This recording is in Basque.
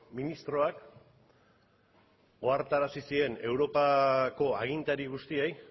ministroak ohartarazi zien europako agintari guztiei